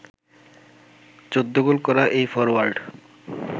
১৪ goal করা এই forward